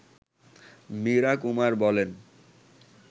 মীরা কুমার বলেন